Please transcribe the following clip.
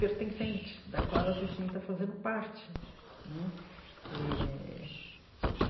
pertencente, da qual ela se sinta fazendo parte né eh.